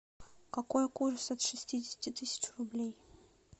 какой курс от шестидесяти тысяч рублей